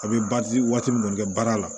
A bɛ waati min na kɛ baara la